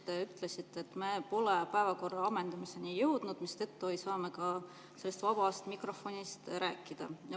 Te ütlesite, et me pole päevakorra ammendamiseni jõudnud, mistõttu ei saa me ka vabast mikrofonist rääkida.